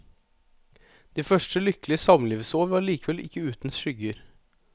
De første lykkelige samlivsår var likevel ikke uten skygger.